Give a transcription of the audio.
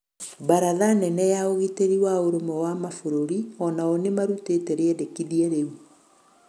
Baratha nene ya ũgĩtĩrĩ wa ũrũmwe wa mabũrũri onao nimarũtĩte rĩendekĩthĩa rĩũ